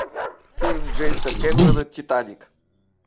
фильм джеймса кэмерона титаник